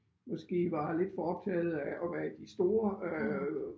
Måske var lidt for optaget af at være i de store øh